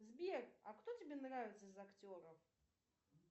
сбер а кто тебе нравится из актеров